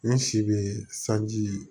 N si be saji